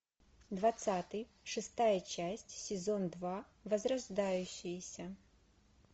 двадцатый шестая часть сезон два возрождающиеся